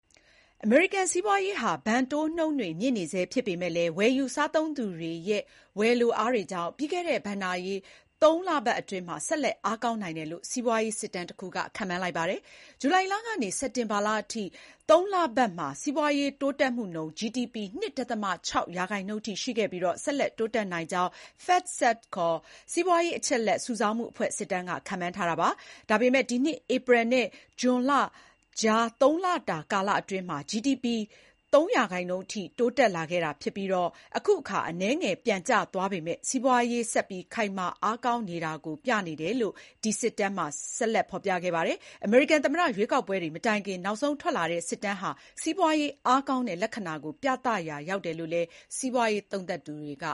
အမေရိကန် စီးပွားရေးဟာ ဘဏ်တိုးနှုန်းတွေမြင့်နေဆဲ ဖြစ်ပေမဲ့လည်း ဝယ်ယူစားသုံးသူတွေရဲ့ ဝယ်လိုအားတွေကြောင့် ပြီးခဲ့တဲ့ ဘဏ္ဍာရေး ၃ လပတ်အတိုင်း ဆက်လက် အားကောင်းနိုင်တယ်လို့ စီးပွားရေးစစ်တမ်းတခုက ခန့်မှန်းလိုက်ပါတယ်။ ဇူလိုင်လကနေ စက်တင်ဘာလအထိ ၃ လပတ်မှာ စီးပွားရေးတိုးတက်မှုနှုန်း GDP ၂.၆ % ရှိခဲ့ပြီး ဆက်လက် တိုးတက်နိုင်ကြောင်း FactSet ခေါ် စီးပွားရေးအချက်အလက်စုဆောင်းမှုအဖွဲ့ စစ်တမ်းက ခန့်မှန်းထားတာပါ။ ဒါပေမဲ့ ဒီနှစ် ဧပြီနဲ့ ဇွန်လကြား ၃ လကာလတုန်းကတော့ GDP ၃% အထိ တိုးတက်ခဲ့တာဖြစ်ပြီး၊ အခုအခါ အနည်းငယ် ပြန်ကျသွားပေမဲ့ စီးပွားရေးဆက်ခိုင်မာအားကောင်းနေတာကို ပြတယ်လို့ ဒီစစ်တမ်းမှာ ဆက်ဖော်ပြခဲ့ပါတယ်။ အမေရိကန် သမ္မတရွေးကောက်ပွဲတွေ မတိုင်ခင် နောက်ဆုံးထွက်လာတဲ့ စစ်တမ်းဟာ စီးပွားရေး အားကောင်းတဲ့ လက္ခဏာကို ပြသရာရောက်တယ်လို့လည်း စီးပွားရေးသုံးသပ်သူတွေက